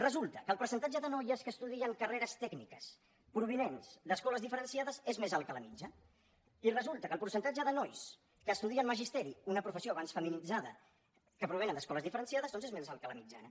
resulta que el percentatge de noies que estudien carreres tècniques provinents d’escoles diferenciades és més alt que la mitjana i resulta que el percentatge de nois que estudien magisteri una professió abans feminitzada que provenen d’escoles diferenciades doncs és més alt que la mitjana